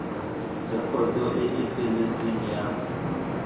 rekoto e e feletseng ya